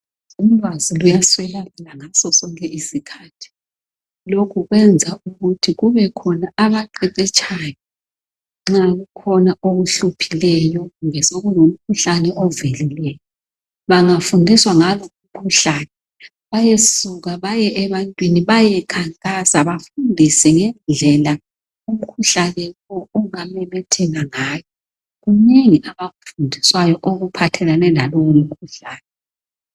Ulwazi luyaswelakala ngasosonke isikhathi lokhu kwenza ukuthi kubekhona abaqeqetshayo nxa kukhona okuhluphileyo kumbe umkhuhlane ovelileyo. Bangafundiswa ngalo umkhuhlane bayasuka bayebantwini bayekhankasa bafundise ngendlela umkhuhlane ongamemetheka ngayo. Kunengi abakufundiswayo okuphathelane lalowo mkhuhlane.